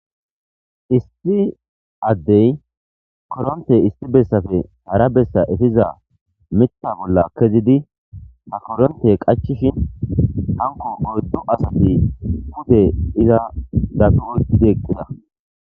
issi addey koronte issi bessafe hara bessa efiza mita bolla kezidi ta koronte qachishin hanko goddu asati bude iza dapi oyqid eqqida